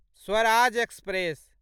Swaraj express